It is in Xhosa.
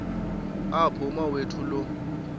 apho umawethu lo